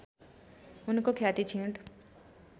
उनको ख्याति क्षीण